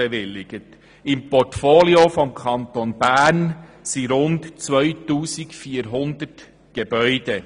Im Portfolio des Kantons Bern befinden sich rund 2400 Gebäude.